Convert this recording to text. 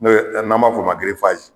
N'o ye n'an b'a f'o ma gerefaze